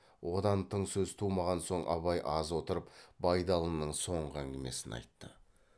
одан тың сөз тумаған соң абай аз отырып байдалының соңғы әңгімесін айтты